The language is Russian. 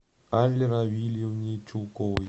алле равильевне чулковой